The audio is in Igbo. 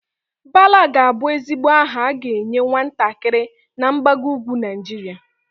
Bala ga-abụ ezigbo aha a ga-enye nwatakịrị na mgbago ugwu Naịjirịa.